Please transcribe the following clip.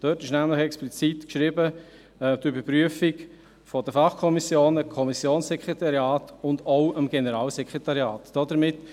In diesem wird nämlich explizit die Überprüfung der Fachkommissionen, der Kommissionssekretariate und auch des Generalsekretariats aufgeführt.